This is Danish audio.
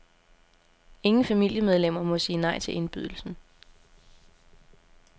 Ingen familiemedlemmer må sige nej til indbydelsen.